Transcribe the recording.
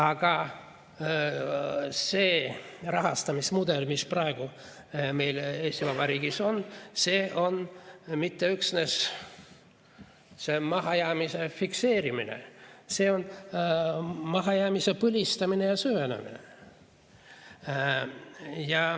Aga see rahastamismudel, mis praegu meil Eesti Vabariigis on, ei ole mitte üksnes mahajäämise fikseerimine, vaid see on mahajäämise põlistamine ja süvendamine.